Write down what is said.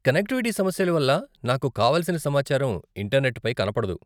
Connectivity సమస్యల వల్ల నాకు కావలసిన సమాచారం ఇంటర్నెట్పై కనపడదు.